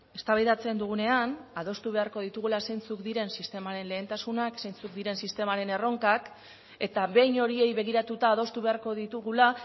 eztabaidatzen dugunean adostu beharko ditugula zeintzuk diren sistemaren lehentasunak zeintzuk diren sistemaren erronkak eta behin horiei begiratuta adostu beharko ditugula